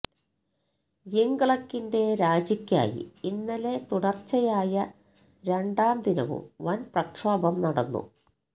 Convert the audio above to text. യിംഗ്ലക്കിന്റെ രാജിക്കായി ഇന്നലെ തുടര്ച്ചയായ രണ്ടാംദിനവും വന് പ്രക്ഷോഭം നടന്നു